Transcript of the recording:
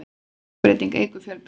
stökkbreyting eykur fjölbreytni